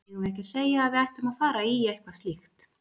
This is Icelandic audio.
Eigum við ekki að segja að við ætlum að fara í eitthvað slíkt?